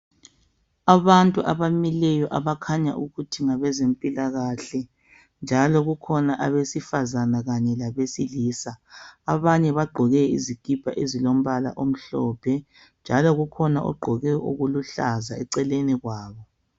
Abantu abamileyo abakhanya ukuthi ngabezempilakahle. Njalo kukhona abesifazana kanye besilisa abanye bagqoke izikipa ezilombala omhlophe njalo kukhona ogqoke okuluhlaza eceleni kwabo.